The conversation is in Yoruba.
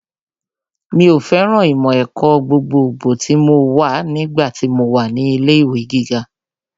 Mi ò fẹ́ràn ìmọ̀ ẹ̀kọ́ gbogbogbò tí mo wà nígbà tí mo wà ní ilé ìwé gíga